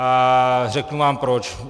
A řeknu vám proč.